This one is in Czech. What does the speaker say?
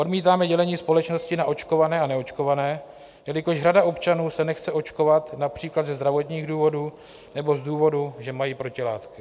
Odmítáme dělení společnosti na očkované a neočkované, jelikož řada občanů se nechce očkovat například ze zdravotních důvodů nebo z důvodu, že mají protilátky.